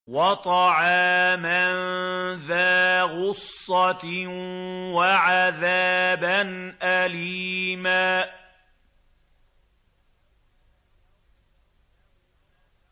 وَطَعَامًا ذَا غُصَّةٍ وَعَذَابًا أَلِيمًا